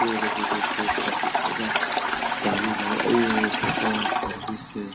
ये देखिए दोस्तों काफी ज्यादा पानी लगा सर्विस है।